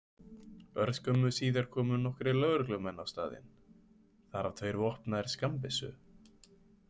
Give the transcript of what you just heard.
Örskömmu síðar komu nokkrir lögreglumenn á staðinn, þar af tveir vopnaðir skammbyssum.